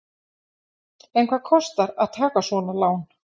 En hvað kostar að taka svona lán?